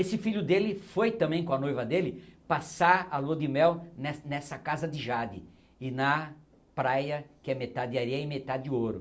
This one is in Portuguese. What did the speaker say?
Esse filho dele foi também com a noiva dele passar a lua de mel ne nessa casa de Jade e na praia que é metade areia e metade ouro.